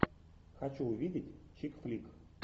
хочу увидеть чик флик